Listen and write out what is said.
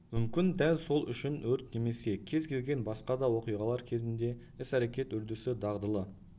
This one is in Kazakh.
мүмкін дәл сол үшін өрт немесе кез келген басқа да оқиғалар кезінде іс-әрекет үрдісі дағдылы